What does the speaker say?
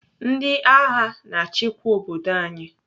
Ndị agha na-achịkwa obodo anyị.